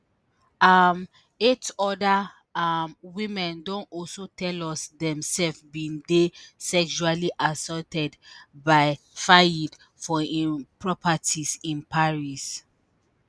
um eight oda um women don also tell us dem sef bin dey sexually assaulted by fayed for im properties in paris.